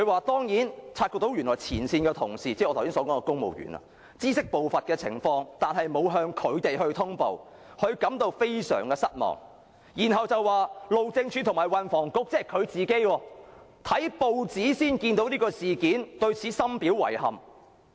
第二，陳帆說前線同事——即我剛才提到的公務員——知悉部分情況，但沒有向他通報，他感到非常失望，然後又說路政署署長和運輸及房屋局局長——即他自己——看報紙才知悉事件，對此深表遺憾。